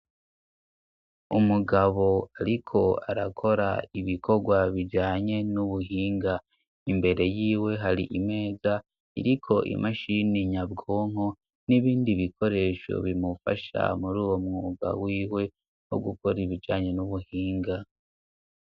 Umugabo ariko arakora ibikorwa bijanye n'ubuhinga, imbere yiwe hari imeza iriko imashini nyabwonko n'ibindi bikoresho bimufasha muri uwo mwuga wiwe wo gukora ibijanye n'ubuhinga.